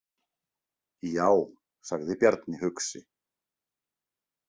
Já, sagði Bjarni hugsi.